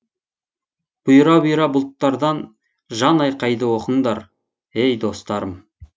бұйра бұйра бұлттардан жан айқайды оқыңдар ей достарым